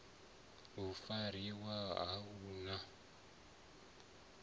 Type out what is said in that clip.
a fariwe a hu na